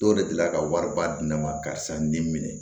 Dɔw de delila ka wari ba di ne ma karisa n den minɛ